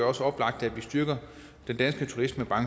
også oplagt at vi styrker den danske turisme